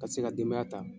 Ka se ka denbaya ta